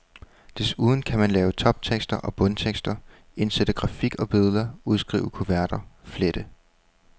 Desuden kan man lave toptekster og bundtekster, indsætte grafik og billeder, udskrive kuverter, flette.